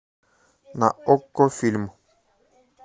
на окко фильм